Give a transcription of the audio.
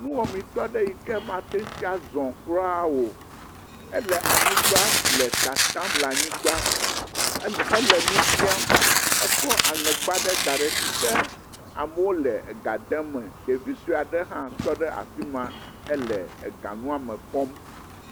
Nuwɔametɔ ɖe yi ke mate ŋu zɔŋ kura o, ele anyigba le tatam le anyigba ele, hele nu biam. Ekɔ aŋɛgba ɖe da ɖe si ke amewo le ga de eme. Ɖevi sue aɖe hã tɔ ɖe afi ma hee aganua me kpɔm.